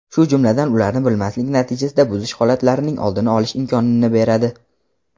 shu jumladan ularni bilmaslik natijasida buzish holatlarining oldini olish imkonini beradi.